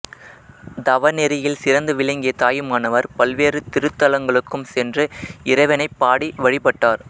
தவநெறியில் சிறந்து விளங்கிய தாயுமானவர் பல்வேறு திருத்தலங்களுக்கும் சென்று இறைவனைப்பாடி வழிபட்டார்